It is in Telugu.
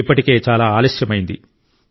ఇప్పటికే చాలా ఆలస్యమైంది